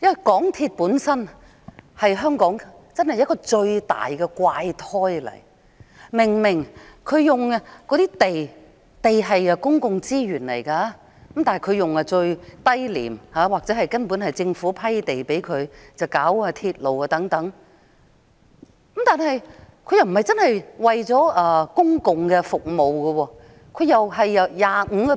港鐵公司本身是香港最大的怪胎，明明他們使用的土地是公共資源，他們以最低廉或根本是政府批給他們的土地來興建鐵路等，但他們卻不是真的為了公共服務。